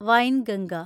Wainganga